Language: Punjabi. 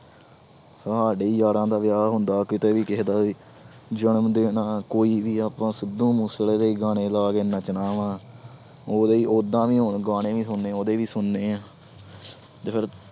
ਸਾਡੇ ਯਾਰਾਂ ਦਾ ਵਿਆਹ ਹੁੰਦਾ ਕਿਤੇ ਵੀ ਕਿਸੇ ਦਾ ਵੀ, ਜਨਮ ਦਿਨ ਆਂ ਕੋਈ ਵੀ ਆਪਾਂ ਸਿੱਧੂ ਮੂਸੇਵਾਲੇ ਦੇ ਹੀ ਗਾਣੇ ਲਾ ਕੇ ਨੱਚਣਾ ਵਾਂ ਉਹਦੇ ਹੀ ਓਦਾਂ ਵੀ ਹੁਣ ਗਾਣੇ ਵੀ ਸੁਣਨੇ ਉਹਦੇ ਹੀ ਸੁਣਨੇ ਆਂ ਜੇ ਫਿਰ